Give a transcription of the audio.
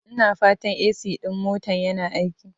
Ina fatan AC ɗin motan yana aiki?